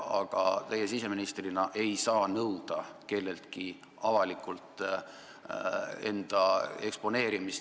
Aga teie siseministrina ei saa nõuda kelleltki enda avalikku eksponeerimist.